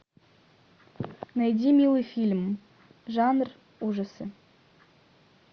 найди милый фильм жанр ужасы